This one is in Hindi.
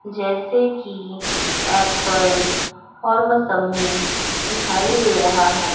जैसे की एप्पल और मोसंबी दिखाई दे रहा है।